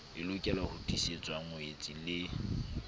e lokelaho ntlisetsa ngwetsi le